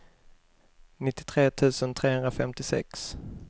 nittiotre tusen trehundrafemtiosex